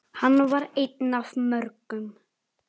Hann var einn af mörgum.